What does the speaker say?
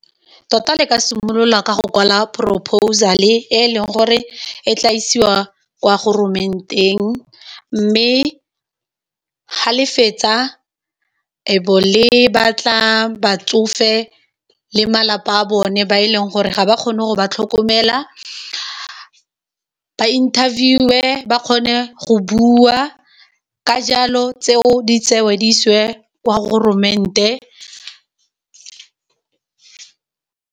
Tota le ka simolola ka go kwala proposal-e e leng gore e tla isiwa kwa goromanteng, mme ga le fetsa le be le batla batsofe le malapa a bone ba e leng gore ga ba kgone go ba tlhokomela ba interview, ba kgone go bua ka jalo tseo di tsewe di isiwe kwa goromanteng.